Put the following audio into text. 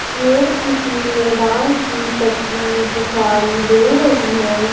ये किसी मैदान की तस्वीर दिखाई दे रही है।